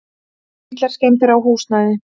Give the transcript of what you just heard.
Litlar skemmdir á húsnæði.